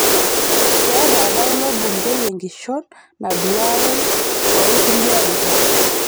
Keeta apa ilo bungei enkishon naaduaroi too lkulie arikok